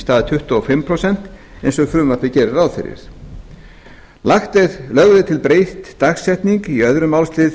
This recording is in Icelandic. stað tuttugu og fimm prósent eins og frumvarpið gerir ráð fyrir annars lögð er til breytt dagsetning í öðrum málsl